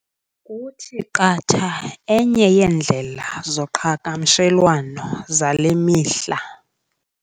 Kuthi qatha enye yeendlela zoqhagamshelwano zale mihla.